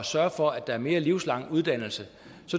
sørge for at der er mere livslang uddannelse